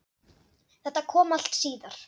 Þetta kom allt síðar.